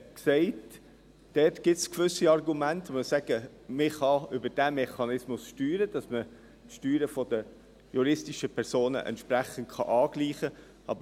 Dort gibt es gewisse Argumente, bei denen man sagen kann, dass man über diesen Mechanismus steuern kann, damit man die Steuern der juristischen Personen entsprechend angleichen kann.